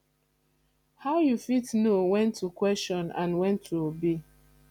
how you fit know when to question and when to obey